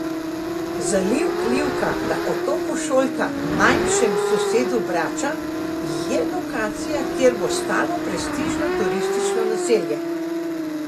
Zaliv Livka na otoku Šolta, manjšem sosedu Brača, je lokacija, kjer bo stalo prestižno turistično naselje.